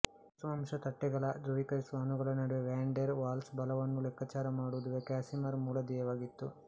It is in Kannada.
ವಾಸ್ತವಾಂಶದ ತಟ್ಟೆಗಳ ಧ್ರುವೀಕರಿಸುವ ಅಣುಗಳ ನಡುವೆ ವ್ಯಾನ್ ಡೆರ್ ವಾಲ್ಸ್ ಬಲವನ್ನು ಲೆಕ್ಕಾಚಾರ ಮಾಡುವುದು ಕಾಸಿಮಿರ್ ಮೂಲ ಧ್ಯೇಯವಾಗಿತ್ತು